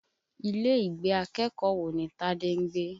Ilé ìgbé akẹ́kọ̀ọ́ wo ni Tádé ń gbé?